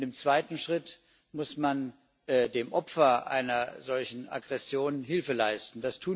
Und im zweiten Schritt muss man dem Opfer einer solchen Aggression Hilfe leisten.